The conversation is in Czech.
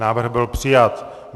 Návrh byl přijat.